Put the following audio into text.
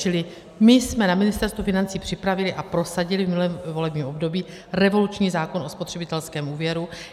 Čili my jsme na Ministerstvu financí připravili a prosadili v minulém volebním období revoluční zákon o spotřebitelském úvěru.